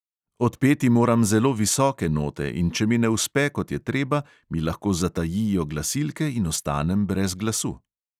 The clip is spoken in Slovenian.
Odpeti moram zelo visoke note, in če mi ne uspe, kot je treba, mi lahko zatajijo glasilke in ostanem brez glasu.